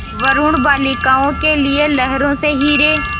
वरूण बालिकाओं के लिए लहरों से हीरे